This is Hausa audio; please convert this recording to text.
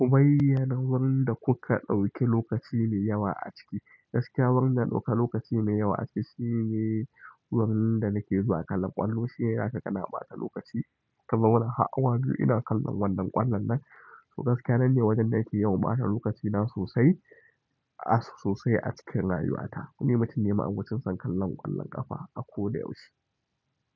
Ku bayyana wurin da kuka ɗauki lokaci mai yawa a ciki. Gaskiya wurin da na ɗauka lokaci mai yawa a ciki shine wurin da nake zuwa kallon ƙwallo. Shi ne zaka kama ɓata lokaci kazauna har awa biyu ina kallon wannan ƙwallon nan. To gaskiya nan ne wajen da nake yawan ɓata lokacina sosai, a sosai a cikin rayuwata. Kunimatin nema unguwar kinsan kallon ƙwallon ƙafa a ko da yaushe.